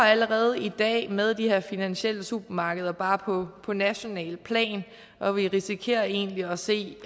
allerede i dag kæmper med de her finansielle supermarkeder bare på på nationalt plan og vi risikerer egentlig at se